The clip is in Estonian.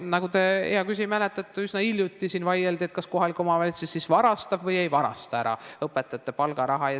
Nagu te, hea küsija, mäletate, üsna hiljuti siin vaieldi, kas kohalik omavalitsus varastab või ei varasta ära õpetajate palgaraha.